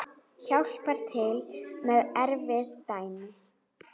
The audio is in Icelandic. Hjálpar til með erfið dæmi.